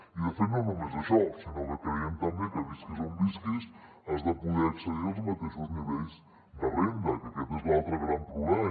i de fet no només això sinó que creiem també que visquis on visquis has de poder accedir als mateixos nivells de renda que aquest és l’altre gran problema